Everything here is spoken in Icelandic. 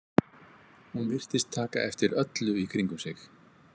Hún virtist taka eftir öllu í kringum sig.